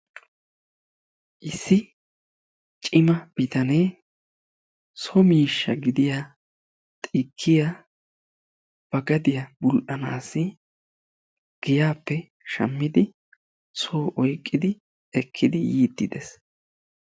issi cimma bitanee so miishsha gidioya xikkiya ba gaddiya bul'anaassi soo oyqqidi yiidi dees.